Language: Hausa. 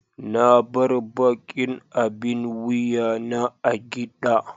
na bar ɓaƙin abin wuƴa na a giɗa.